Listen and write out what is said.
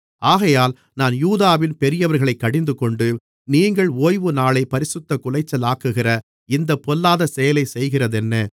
ஆகையால் நான் யூதாவின் பெரியவர்களைக் கடிந்துகொண்டு நீங்கள் ஓய்வுநாளைப் பரிசுத்தக் குலைச்சலாக்குகிற இந்தப் பொல்லாத செயலைச் செய்கிறதென்ன